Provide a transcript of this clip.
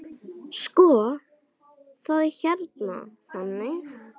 Sko, það er hérna þannig.